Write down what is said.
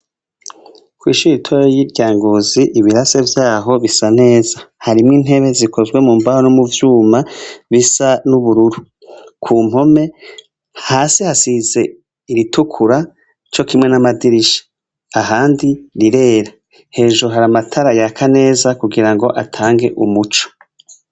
Kw’ishure ritoyi rya Ngozi ibirase vyaho bisa neza, harimwo intebe zikozwe mu mbaho no muvyuma bisa n’ubururu, kumpome hasi hasize iritukura cokimwe n’amadirisha, ahandi rirera hejuru hari amatara yaka neza kugira ngo atange umuco.